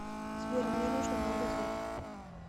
сбер мне нужно много денег